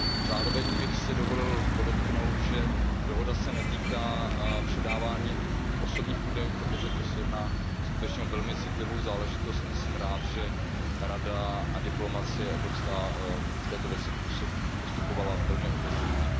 Zároveň bych si dovolil podotknout, že dohoda se netýká předávání osobních údajů, protože se jedná skutečně o velmi citlivou záležitost, a jsem rád, že Rada a evropská diplomacie v této věci postupovala velmi obezřetně.